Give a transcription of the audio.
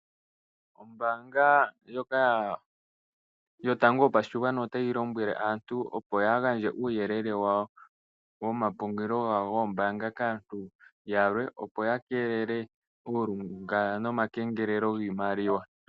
Ombanga ndjoka yotango yopashigwana otayi lombwele aantu opo yaagandje uuyelele wawo womapungulilo gawo goombanga kaantu yalwe opo ya keelele uulunga nomakengelelo giimaliwa.